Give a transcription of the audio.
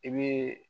I bɛ